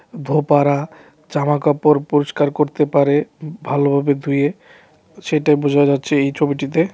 ধোপারা জামাকাপড় পরিষ্কার করতে পারে ভালোভাবে ধুয়ে সেইটাই বোঝা যাচ্ছে এই ছবিটিতে।